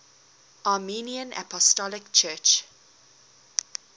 armenian apostolic church